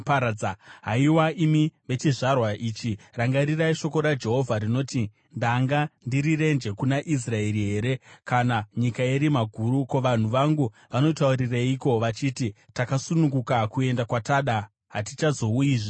“Haiwa, imi vechizvarwa ichi, rangarirai Shoko raJehovha rinoti: “Ndanga ndiri renje kuna Israeri here kana nyika yerima guru? Ko, vanhu vangu vanotaurireiko vachiti, ‘Takasununguka kuenda kwatada; hatichazouyizve kwamuri?’